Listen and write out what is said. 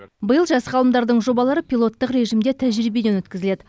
биыл жас ғалымдардың жобалары пилоттық режімде тәжірибеден өткізіледі